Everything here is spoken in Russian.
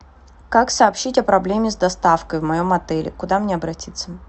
как сообщить о проблеме с доставкой в моем отеле куда мне обратиться